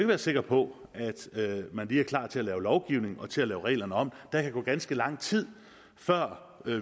være sikker på at man lige er klar til at lave lovgivning og til at lave reglerne om der kan gå ganske lang tid før